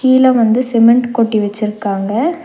கீழ வந்து சிமெண்ட் கொட்டி வெச்சிருக்காங்க.